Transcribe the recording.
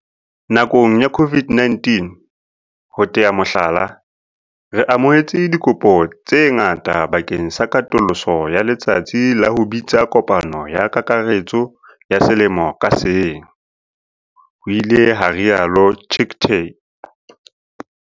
"Nakong ya COVID-19, ho tea mohlala, re amohetse dikopo tse ngata bakeng sa katoloso ya letsatsi la ho bitsa kopano ya kakaretso ya selemo ka seng," ho ile ha rialo Chicktay.